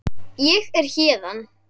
Ég er héðan